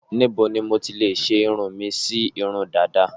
Níbo ni mo ti lè ṣe irun mi sí irun dàda?